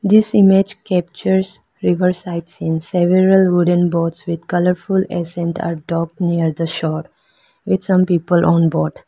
This image captures river side scenes several wooden boats with colorful accents are docked near the shore with some people on board.